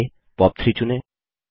आगे पॉप3 चुनें